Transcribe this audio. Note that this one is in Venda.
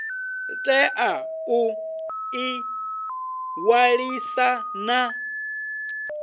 tea u ḓi ṅwalisa na